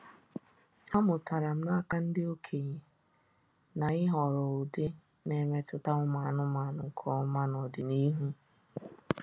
Amụtara m n’aka ndị okenye na ịhọrọ ụdị na-emetụta ụmụ anụmanụ nke ọma n’ọdịnihu